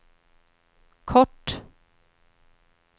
kort